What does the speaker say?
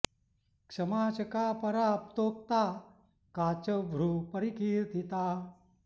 क्षमा च का परा प्तोक्ता का च हृः परिकीर्तिता